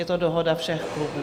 Je to dohoda všech klubů.